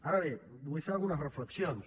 ara bé vull fer algunes reflexions